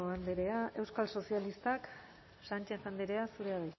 andrea euskal sozialistak sánchez andrea zurea